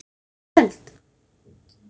Byrjar hann í kvöld?